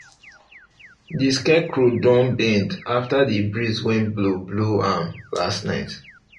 the scarecrow don bend after the breeze wey blow blow am last night